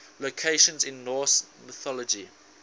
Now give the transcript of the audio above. locations in norse mythology